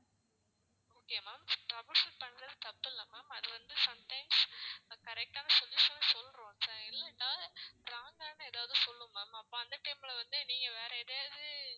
okay ma'am trouble shoot பண்றது தப்பு இல்ல ma'am அது வந்து sometimes correct ஆன solution உம் சொல்லிடும் இல்லன்னா wrong ஆன ஏதாவது சொல்லும் ma'am அப்போ அந்த time ல வந்து நீங்க வேற எதையாவது